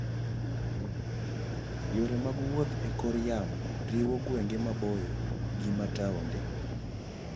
Yore mag wuoth e kor yamo riwo gwenge maboyo gi ma taonde.